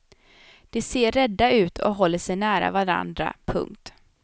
De ser rädda ut och håller sig nära varandra. punkt